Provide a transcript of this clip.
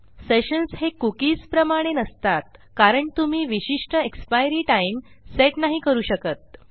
sessions हे cookies प्रमाणे नसतात कारण तुम्ही विशिष्ट एक्सपायरी टाइम सेट नाही करू शकत